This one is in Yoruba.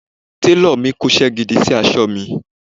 Télọ̀ mi kóṣẹ́ gidi sí aṣọ mi